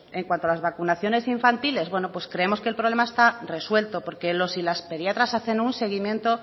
en cuanto a las vacunaciones infantiles bueno pues creemos que el problema está resuelto porque los y las pediatras hacen un seguimiento